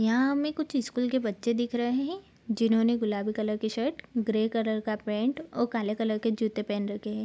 यहां हमे कुछ स्कूल के बच्चे दिख रहे हैं उन्होंने गुलाबी कलर के शर्ट ग्रे कलर का पैंट और काले कलर के जूते पहन रखे हैं।